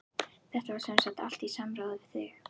Þetta var semsagt allt í samráði við þig?